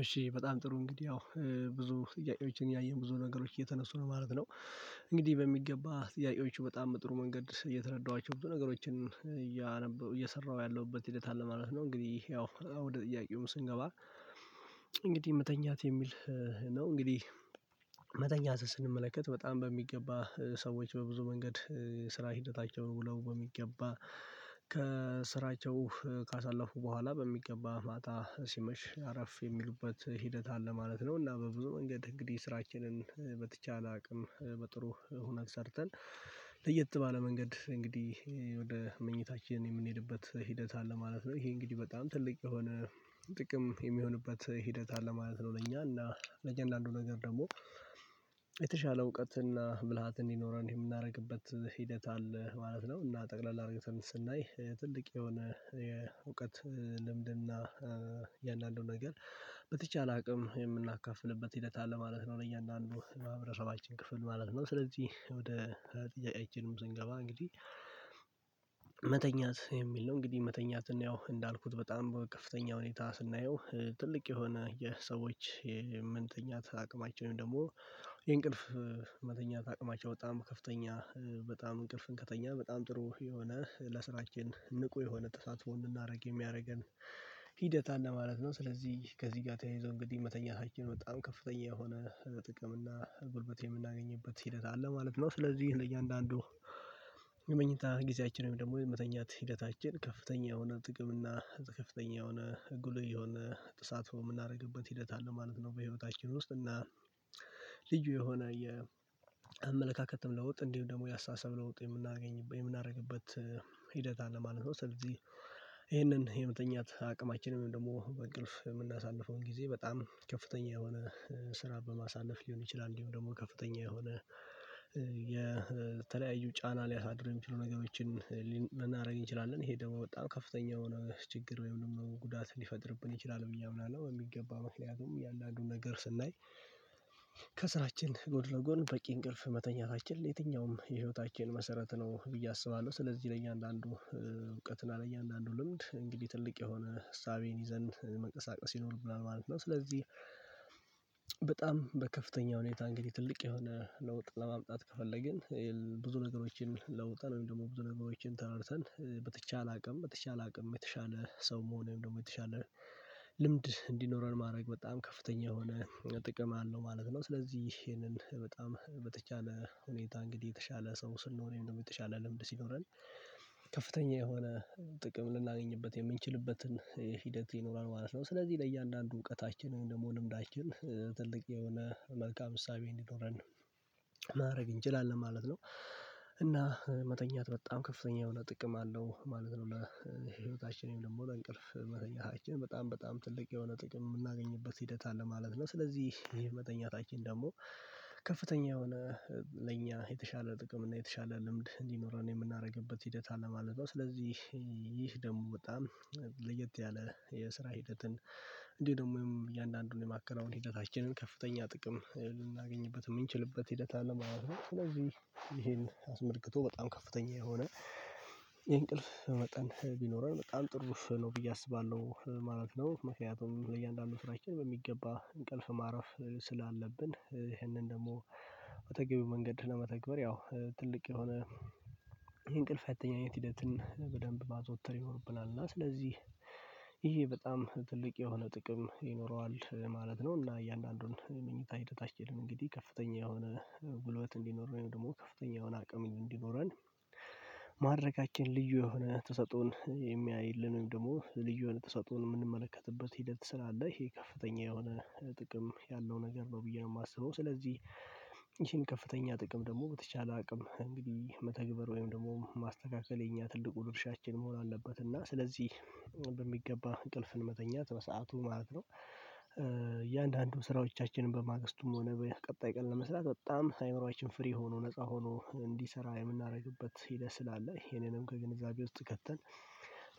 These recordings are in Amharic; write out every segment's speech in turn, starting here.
እሺ በጣም ጥሩ እንግዲህ ያው ብዙ ጥያቄዎችን ያየን ብዙ ነገሮች እየተነሱ ነው ማለት ነው። እንግዲህ በሚገባ ጥያቄዎቹ በጣም በጥሩ መንገድ እየተረዳኋቸው ብዙ ነገሮችን እየሰራሁ ያለሁበት ሂደት አለ ማለት ነው። እንግዲህ ያው ወደ ጥያቄውም ስንገባ እንግዲህ መተኛት የሚል ነው እንግዲህ ኛትን ስንመለከት በጣም በሚገባ ሰዎች በብዙ መንገድ ስራ ሂደታቸውን ውለው በሚገባ ከስራቸው ካሳለፉ በኋላ በሚገባ ማታ ሲመሽ አረፍ የሚሉበት ሂደት አለ ማለት ነው። እና በብዙ መንገድ እንግዲህ ስራችንን በተቻለ አቅም በጥሩ ሁነት ሰርተን ለየት ባለ መንገድ እንግዲህ ወደ መኝታችን የምንሄድበት ሂደት አለ ማለት ነው። ይሄ እንግዲህ በጣም ትልቅ የሆነ ጥቅም የሚሆንበት ሂደት አለ ማለት ነው። ለእኛ እና ለእያንዳንዱ ነገር ደግሞ የተሻለ እውቀትና ብልሃት እንዲኖረን የምናደርግበት ሂደት አለ ማለት ነው። እና ጠቅለል አርግተን ስናይ ትልቅ የሆነ የእውቀት ልምድና እያንዳንዱ ነገር በተቻለ አቅም የምናካፍልበት ሂደት አለ ማለት ነው። ለእያንዳንዱ ማህበረሰባችን ክፍል ማለት ነው። ስለዚህ ወደ ጥያቄቻንም ስንገባ እንግዲህ መተኛት የሚል ነው እንግዲህ መተኛት እና ያው እንዳልኩት በጣም በከፍተኛ ሁኔታ ስናየው ትልቅ የሆነ የሰዎች የምንተኛት አቅማችን ወይም ደግሞ የእንቅልፍ መተኛት አቅማቸው በጣም ከፍተኛ በጣም እንቅልፍን ከተኛን በጣም ጥሩ የሆነ ለስራችን ንቁ የሆነ ተሳትፎ እንድናደርግ የሚያረገን ሂደት አለ ማለት ነው። ስለዚህ ከዚህ ጋር ተያይዞ እንግዲህ መተኛታችን በጣም ከፍተኛ የሆነ ጥቅም እና ጉልበት የምናገኝበት ሂደት አለ ማለት ነው። ስለዚህ ለ እያንዳንዱ የመኝታ ጊዜያችን ወይም ደግሞ የመተኛት ሂደታችን ከፍተኛ የሆነ ጥቅም እና ከፍተኛ የሆነ ጉልህ የሆነ ተሳትፎ ምናረግበት ሂደት አለ ማለት ነው። በህይወታችን ውስጥ እና ልዩ የሆነ የአመለካከትን ለውጥ እንዲሁም ደግሞ ያስተሳሰብ ለውጥ የምናገኝበት የምናደርግበት ሂደት አለ ማለት ነው። ስለዚህ ይሄንን የመተኛት አቅማችንም ወይም ደግሞ እንቅልፍ የምናሳልፈው ጊዜ በጣም ከፍተኛ የሆነ ስራ በማሳለፍ ሊሆን ይችላል። እንዲሁም ደግሞ ከፍተኛ የሆነ የተለያዩ ጫና ሊያሳድር የሚችሉ ነገሮችን ልናደርግ እንችላለን ይሄ ደግሞ በጣም ከፍተኛ የሆነ ችግር ወይም ደግሞ ጉዳት ሊፈጥርብን ይችላል ብየ አምናለሁ። በሚገባ ምክንያቱም እያንዳንዱን ነገር ስናይ ከስራችን ጎን ለጎን በቂ እንቅልፍ መተኛታችን ለየትኛውም የህይወታችን መሰረት ነው ብዬ አስባለሁ። ስለዚህ ለእኛ አንዳንዱ እውቀትን አለ እያንዳንዱ ልምድ እንግዲህ ትልቅ የሆነ እሳቤን ይዘን መንቀሳቀስ ይኖርብናል ማለት ነው። ስለዚህ በጣም በከፍተኛ ሁኔታ እንግዲህ ትልቅ የሆነ ለውጥ ለማምጣት ከፈለግን ብዙ ነገሮችን ለውጠን ወይም ደግሞ ብዙ ነገሮችን ተረድተን በተቻለ አቅም በተቻለ አቅም የተሻለ ሰው መሆን ወይም ደግሞ የተሻለ ልምድ እንዲኖረን ማድረግ በጣም ከፍተኛ የሆነ ጥቅም አለው ማለት ነው። ስለዚህ ይሄንን በጣም በተቻለ ሁኔታ እንግዲህ የተሻለ ሰው ስንሆን ወይም ደግሞ የተሻለ ልምድ ሲኖረን ከፍተኛ የሆነ ጥቅም ልናገኝበት የምንችልበትን ሂደት ይኖራል ማለት ነው። ስለዚህ ለእያንዳንዱ እውቀታችን ወይም ደግሞ ልምዳችን ትልቅ የሆነ መልካም እሳቤ እንዲኖረን ነው ማድረግ እንችላለን ማለት ነው። እና መተኛት በጣም ከፍተኛ የሆነ ጥቅም አለው ማለት ነው። ለህይወታችን ወይም ደግሞ ለ እንቅልፍ መተኛታችን በጣም በጣም ትልቅ የሆነ ጥቅም የምናገኝበት ሂደት አለ ማለት ነው። ስለዚህ ይሄ መተኛታችን ደግሞ ከፍተኛ የሆነ ለእኛ የተሻለ ጥቅም እና የተሻለ ልምድ እንዲኖረን የምናረግበት ሂደት አለ ማለት ነው። ስለዚህ ይህ ደግሞ በጣም ለየት ያለ የስራ ሂደትን እንዲሁም ደግሞ እያንዳንዱን የማከናወን ሂደታችንን ከፍተኛ ጥቅም ልናገኝበት የምንችልበት ሂደት አለ ማለት ነው። ስለዚህ ይሄን አስመልክቶ በጣም ከፍተኛ የሆነ የእንቅልፍ መጠን ቢኖረን በጣም ጥሩ ነው ብዬ አስባለሁ ማለት ነው። ምክንያቱም ለእያንዳንዱ ስራችን በሚገባ እንቅልፍ ማረፍ ስላለብን ይህንን ደግሞ በተገቢው መንገድ ለመተግበር ያው ትልቅ የሆነ ይህ እንቅልፍ አተኛኘት ሂደትን በደንብ ማዘውተር ይኖርብናል እና ስለዚህ ይሄ በጣም ትልቅ የሆነ ጥቅም ይኖረዋል ማለት ነው። እና እያንዳንዱን ምኝታ ሂደታችን እንግዲህ ከፍተኛ የሆነ ጉልበት እንዲኖረን ወይም ደግሞ ከፍተኛ የሆነ አቅም እንዲኖረን ማድረጋችን ልዩ የሆነ ተሰጦን የሚያይልን ወይም ደግሞ ልዩ የሆነ ተሰጥኦን የምንመለከትበት ሂደት ስላለ ይሄ ከፍተኛ የሆነ ጥቅም ያለው ነገር ነው። ብዬ ነው የማስበው ስለዚህ ይህን ከፍተኛ ጥቅም ደግሞ በተቻለ አቅም እንግዲህ መተግበር ወይም ደግሞ ማስተካከል የኛ ትልቁ ድርሻችን መሆን አለበት። እና ስለዚህ በሚገባ እንቅልፍን መተኛት በሰአቱ ማለት ነው እያንዳንዱ ስራዎቻችንን በማግስቱም ሆነ ቀጣይ ቀን ለመስራት በጣም አይምሮአችን ፍሬ ሆኖ ነፃ ሆኖ እንዲሰራ የምናደርግበት ሂደት ስላለ ይሄንንም ከግንዛቤ ውስጥ ከተን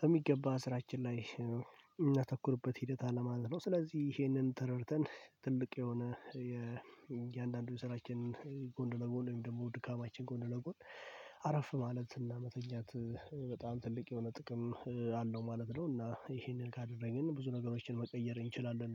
በሚገባ ስራችን ላይ የምናተኩርበት ሂደት አለ ማለት ነው። ስለዚህ ይሄንን ተረድተን ትልቅ የሆነ የእያንዳንዱን ስራችን ጎን ለጎን ወይም ደግሞ ድካማችን ጎን ለጎን አረፍ ማለት እና መተኛት በጣም ትልቅ የሆነ ጥቅም አለው ማለት ነው። እና ይሄንን ካደረግን ብዙ ነገሮችን መቀየር እንችላለን